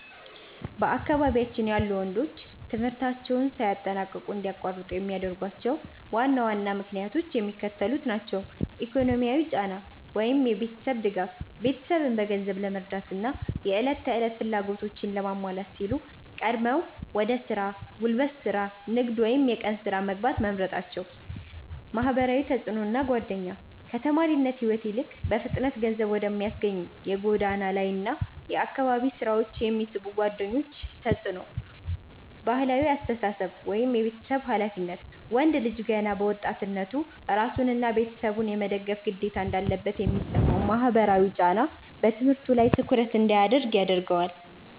በአካባቢያችን ያሉ ወንዶች ትምህርታቸውን ሳያጠናቅቁ እንዲያቋርጡ የሚያደርጓቸው ዋና ዋና ምክንያቶች የሚከተሉት ናቸው፦ ኢኮኖሚያዊ ጫና (የቤተሰብ ድጋፍ)፦ ቤተሰብን በገንዘብ ለመርዳትና የዕለት ተዕለት ፍላጎቶችን ለማሟላት ሲሉ ቀድመው ወደ ሥራ (ጉልበት ሥራ፣ ንግድ ወይም የቀን ሥራ) መግባት መምረጣቸው። ማህበራዊ ተጽዕኖና ጓደኛ፦ ከተማሪነት ሕይወት ይልቅ በፍጥነት ገንዘብ ወደሚያስገኙ የጎዳና ላይና የአካባቢ ሥራዎች የሚስቡ ጓደኞች ተጽዕኖ። ባህላዊ አስተሳሰብ (የቤተሰብ ኃላፊነት)፦ ወንድ ልጅ ገና በወጣትነቱ ራሱንና ቤተሰቡን የመደገፍ ግዴታ እንዳለበት የሚሰማው ማህበራዊ ጫና በትምህርቱ ላይ ትኩረት እንዳያደርግ ያደርገዋል።